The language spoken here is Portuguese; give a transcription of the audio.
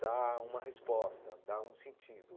dar uma resposta, dar um sentido.